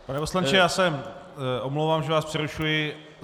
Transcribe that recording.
Pane poslanče, já se omlouvám, že vás přerušuji.